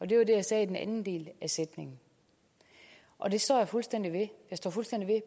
det var det jeg sagde i den anden del af sætningen og det står jeg fuldstændig ved jeg står fuldstændig ved